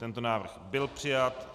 Tento návrh byl přijat.